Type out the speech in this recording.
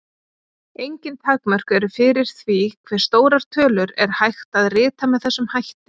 Engin takmörk eru fyrir því hve stórar tölur er hægt að rita með þessum hætti.